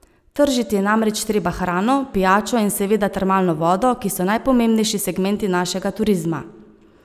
Tržiti je namreč treba hrano, pijačo in seveda termalno vodo, ki so najpomembnejši segmenti našega turizma.